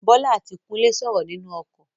Bólá àti Kúnlé sọrọ ninu okò